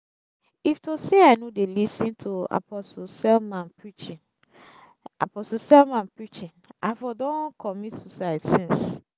if to say i no dey lis ten to apostle selman preaching apostle selman preaching i for don commit suicide since